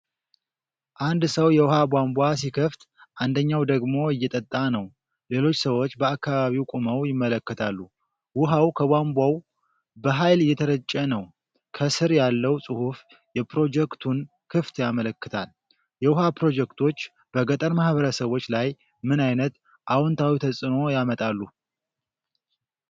አንድ ሰው የውሃ ቧንቧ ሲከፍት፣ አንደኛው ደግሞ እየጠጣ ነው። ሌሎች ሰዎች በአካባቢው ቆመው ይመለከታሉ። ውሃው ከቧንቧው በኃይል እየተረጨ ነው። በሥር ያለው ጽሑፍ የፕሮጀክቱን ክፍት ያመለክታል። የውሃ ፕሮጀክቶች በገጠር ማኅበረሰቦች ላይ ምን ዓይነት አዎንታዊ ተጽዕኖ ያመጣሉ?